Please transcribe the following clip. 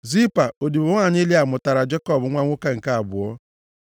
Zilpa, odibo nwanyị Lịa mụtaara Jekọb nwa nwoke nke abụọ.